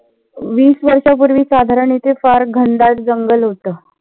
वीस वर्षा पूर्वी साधारण इथे फार घनदाट जंगल होत.